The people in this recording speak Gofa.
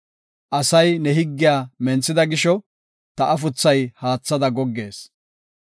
Asay ne higgiya menthida gisho, ta afuthay haathada goggees.